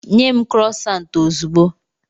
Nye m Krosant ozugbo.